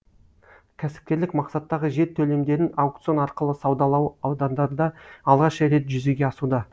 кәсіпкерлік мақсаттағы жер төлімдерін аукцион арқылы саудалау аудандарда алғаш рет жүзеге асуда